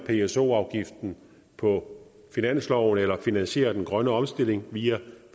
pso afgiften på finansloven eller finansiere den grønne omstilling via